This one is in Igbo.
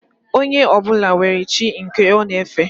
Onye ọbụla nwere chi nke ọ na efe